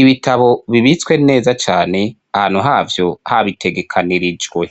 Ibitabo bibitswe neza cane, ahantu havyo habitegekanirijwe.